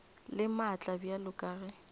le maatla bjalo ka ge